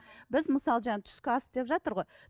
біз мысалы жаңағы түскі ас деп жатыр ғой